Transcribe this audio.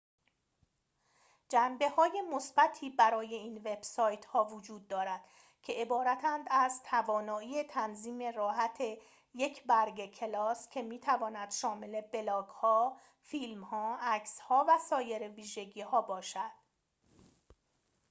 جنبه های مثبتی برای این وب سایت ها وجود دارد که عبارتند از توانایی تنظیم راحت یک برگه کلاس که می تواند شامل بلاگ ها فیلم ها عکس ها و سایر ویژگی ها باشد